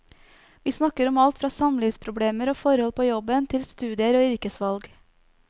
Vi snakker om alt fra samlivsproblemer og forhold på jobben, til studier og yrkesvalg.